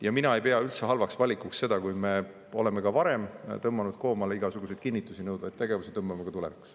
Ja mina ei pea üldse halvaks valikuks seda, kui me oleme ka varem tõmmanud koomale igasuguseid kinnitusi nõudvaid tegevusi – tõmbame ka tulevikus.